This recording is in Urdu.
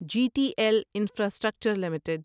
G T L infrastructure limited